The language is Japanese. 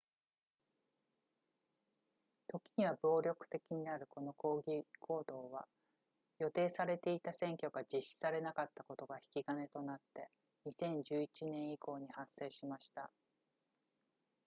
ときには暴力的になるこの抗議行動は予定されていた選挙が実施されなかったことが引き金となって2011年以降に発生しました